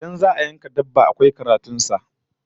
Idan za'a yanka dabba, akwai karatun sa